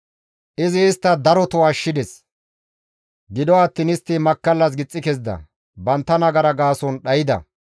Izi istta daroto ashshides; gido attiin istta makkallas gixxi kezida; bantta nagara gaason dhayda.